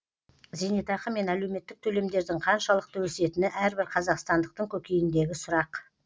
зейнетақы мен әлеуметтік төлемдердің қаншалықты өсетіні әрбір қазақстандықтың көкейіндегі сұрақ